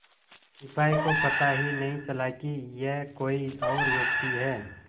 सिपाही को पता ही नहीं चला कि यह कोई और व्यक्ति है